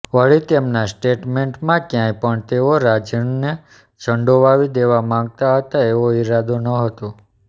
વળી તેમના સ્ટેટમેન્ટમાં ક્યાંય પણ તેઓ રાજનને સંડોવાવી દેવા માંગતા હતા એવો ઇરાદો નહોતો